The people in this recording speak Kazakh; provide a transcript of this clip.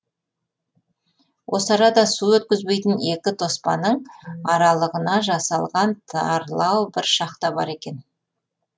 осы арада су өткізбейтін екі тоспаның аралығына жасалған тарлау бір шахта бар екен